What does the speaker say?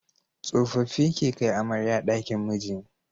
Tsofaffi ke kai amarya dakin miji